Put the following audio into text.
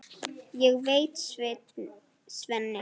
Ég heiti Svenni.